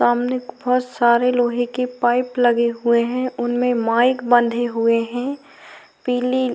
सामने बहोत सारे लोहे के पाइप लगे हुए हैं। उनमें माइक बंधे हुए हैं। पीली --